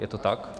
Je to tak?